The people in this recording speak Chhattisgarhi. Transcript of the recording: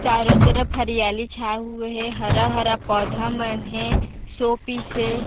चारों तरफ हरियाली छाए हुए हे हरा -हरा पौधा मन हे शो पीस हे।